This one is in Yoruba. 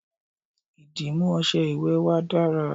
ìdìmú ọṣẹ ìwẹ̀ wa dara